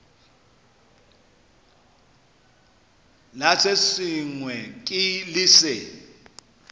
la se sengwe le se